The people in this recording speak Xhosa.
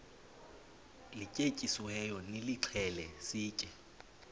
lityetyisiweyo nilixhele sitye